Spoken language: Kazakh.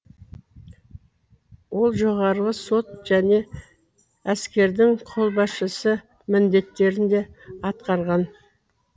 ол жоғарғы сот және әскердің қолбасшысы міндеттерін де атқарды